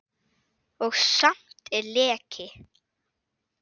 Og samt er leki.